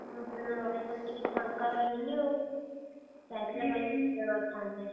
ମୁଁ ସେଦିନ ରହିଗଲି ଟିକେ ଫାଙ୍କା ରହିଲିନି ଆଉ, ଯାଇଥିଲେ ଭଲ ମଜା କରିଥାନ୍ତେ।